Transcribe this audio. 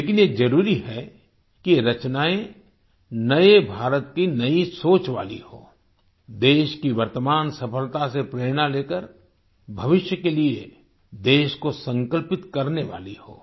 लेकिन ये जरुरी है कि ये रचनाएं नए भारत की नई सोच वाली हों देश की वर्तमान सफलता से प्रेरणा लेकर भविष्य के लिए देश को संकल्पित करने वाली हों